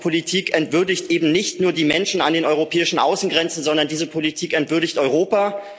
Diese Politik entwürdigt eben nicht nur die Menschen an den europäischen Außengrenzen, sondern diese Politik entwürdigt Europa.